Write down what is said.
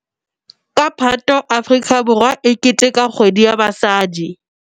Ka Phato Afrika Borwa e keteteka Kgwedi ya Basadi.